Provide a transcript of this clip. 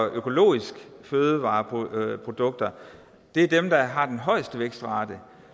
at økologiske fødevareprodukter er dem der har den højeste vækstrate